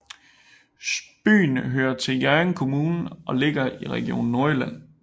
Byen hører til Hjørring Kommune og ligger i Region Nordjylland